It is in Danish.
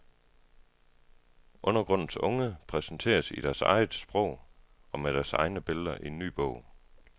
Undergrundens unge præsenteres i deres eget sprog og med deres egne billeder i ny bog.